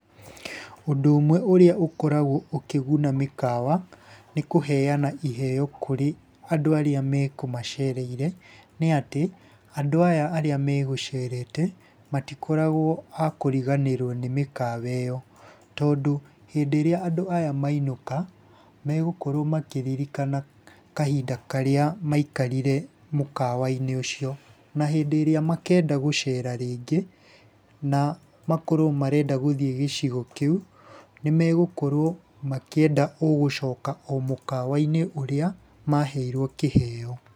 Ũndũ ũmwe ũrĩa ũkoragwo ũkĩguna mĩkawa nĩ kũheana iheo kũrĩ andũ arĩa mekũmacereire, nĩ atĩ, andũ aya arĩa megũcerete, matikoragwo a kũriganĩrwo nĩ mĩkawa ĩyo. Tondũ hĩndĩ ĩrĩa andũ aya mainũka megũkorwo makĩririkana kahinda karĩa maikarire mũkawa-inĩ ũcio. Na hĩndĩ ĩrĩa makenda gũcera rĩngĩ, na makorwo marenda gũthiĩ gĩcigo kĩu nĩ megũkorwo makĩenda o gũcoka o mũkawa-inĩ ũrĩa maheirwo kĩheo.